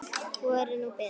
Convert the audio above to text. Hvor er nú betri?